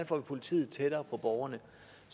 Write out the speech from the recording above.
får politiet tættere på borgerne